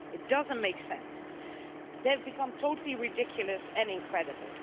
It doesn't make sense. They have become totally ridiculous and incredible.